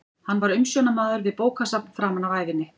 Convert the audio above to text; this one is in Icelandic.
Hann var umsjónarmaður við bókasafn framan af ævinni.